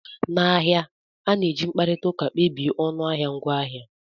N'ahịa, a na-eji mkparịta ụka kpebie ọnụahịa ngwaahịa